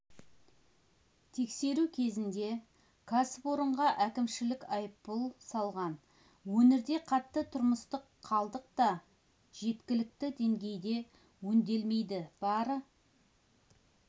тексеру кезінде кәсіпорынға әкімшілік айыппұл салған өңірде қатты тұрмыстық қалдық та жеткілікті деңгейде өңделмейді бары